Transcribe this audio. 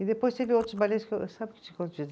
E depois teve outros que eu, sabe